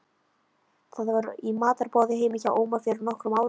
Það var í matarboði heima hjá Óma fyrir nokkrum árum.